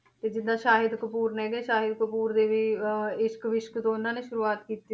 ਤੇ ਜਿੱਦਾਂ ਸਾਹਿਦ ਕਪੂਰ ਨੇ ਗੇ ਸਾਹਿਦ ਕਪੂਰ ਦੇ ਵੀ ਅਹ ਇਸ਼ਕ ਵਿਸ਼ਕ ਤੋਂ ਉਹਨਾਂ ਦੇ ਸ਼ੁਰੂਆਤ ਕੀਤੀ,